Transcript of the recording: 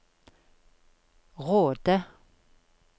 Råde